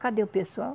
Cadê o pessoal?